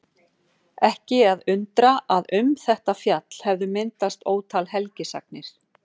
Ekki að undra að um þetta fjall hefðu myndast ótal helgisagnir.